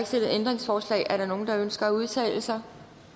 stillet ændringsforslag er der nogen der ønsker at udtale sig